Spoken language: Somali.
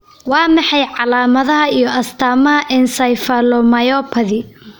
Waa maxay calaamadaha iyo astaamaha encephalomyopathy?